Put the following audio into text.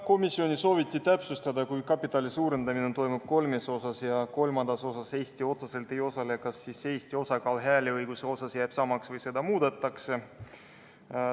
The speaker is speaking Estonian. Komisjonis sooviti täpsustada, et kui kapitali suurendamine toimub kolmes osas ja kolmandas osas Eesti otseselt ei osale, kas siis Eesti osakaal hääleõiguse mõttes jääb samaks või seda muudetakse.